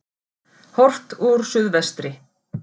Horft úr suðvestri.